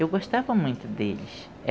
Eu gostava muito deles.